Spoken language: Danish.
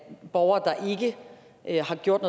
borgere der ikke har gjort